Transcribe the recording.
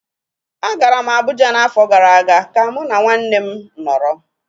Agara m Abuja n'afọ gara aga ka mụ na nwanne nna m nọrọ